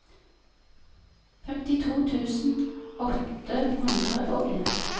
femtito tusen åtte hundre og en